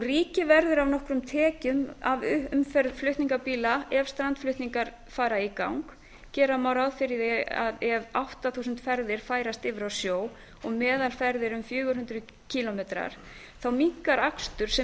ríkið verður af nokkrum tekjum af umferð flutningabíla ef strandflutningar fara í gang gera má ráð fyrir að ef átta þúsund ferðir færist yfir á sjó og meðalferð er um fjögur hundruð kílómetra þá minnkar akstur sem